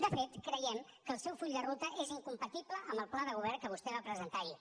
de fet creiem que el seu full de ruta és incompatible amb el pla de govern que vostè va presentar ahir